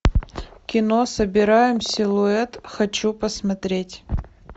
кино собираем силуэт хочу посмотреть